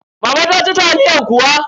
Mama ta ci taliyan kuwa?